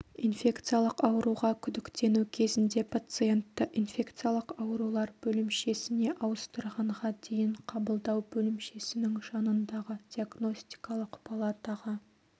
инфекциялық ауруға күдіктену кезінде пациентті инфекциялық аурулар бөлімшесіне ауыстырғанға дейін қабылдау бөлімшесінің жанындағы диагностикалық палатаға